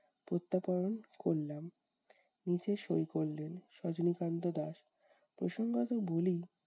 প্রত্যাপয়ন করলাম। নিচে সই করলেন সজনীকান্ত দাস। প্রসঙ্গত বলি-